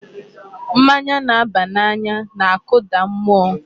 Mmanya na-aba n'anya na-akụda mụọ.